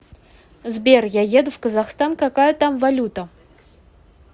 сбер я еду в казахстан какая там валюта